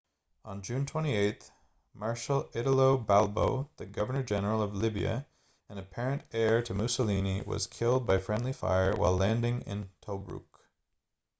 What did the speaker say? on june 28 marshal italo balbo the governor-general of libya and apparent heir to mussolini was killed by friendly fire while landing in tobruk